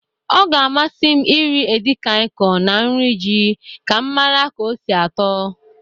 Ọ ga-amasị m iri edikaịkọn na nri ji ka m mara ka o si atọ.